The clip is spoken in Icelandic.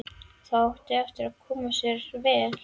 Það átti eftir að koma sér vel.